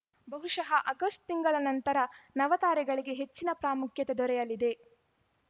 ಬಹುಶಃ ಆಗಸ್ಟ್ ತಿಂಗಳ ನಂತರ ನವ ತಾರೆ ಗಳಿಗೆ ಹೆಚ್ಚಿನ ಪ್ರಾಮುಖ್ಯತೆ ದೊರೆಯಲಿದೆ